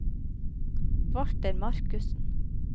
Walter Markussen